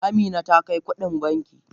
Amina ta kai kudin banki.